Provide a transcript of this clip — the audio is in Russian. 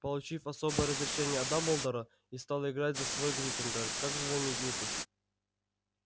получив особое разрешение от дамблдора и стал играть за свой гриффиндор как же знаменитость